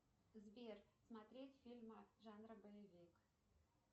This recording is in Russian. сбер смотреть фильмы жанра боевик